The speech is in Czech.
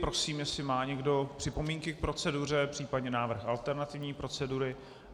Prosím, jestli má někdo připomínky k proceduře případně návrh alternativní procedury.